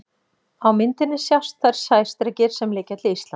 Á myndinni sjást þeir sæstrengir sem liggja til Íslands.